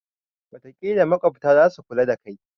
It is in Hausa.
watakila maƙwabta za su kula da kai